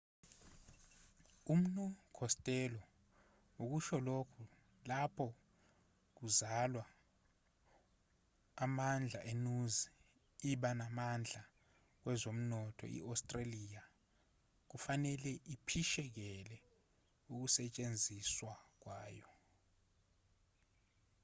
umnu costello ukusho lokho lapho kuzalwa amandla enuzi iba namandla kwezomnotho i-australia kufanele iphishekele ukusetshenziswa kwayo